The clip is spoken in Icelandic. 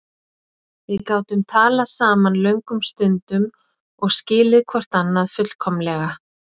Við gátum talað saman löngum stundum og skilið hvort annað fullkomlega.